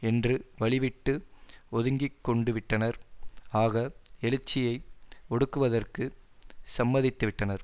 என்று வழிவிட்டு ஒதுங்கிக்கொண்டுவிட்டனர் ஆக எழுச்சியை ஒடுக்குவதற்கு சம்மதித்துவிட்டனர்